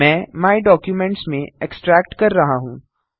मैं my documents में extract कर रहा हूँ